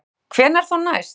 Kristján: Hvenær þá næst?